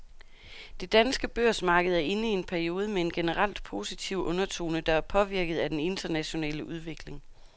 Det danske børsmarked er inde i en periode med en generelt positiv undertone, der er påvirket af den internationale udvikling.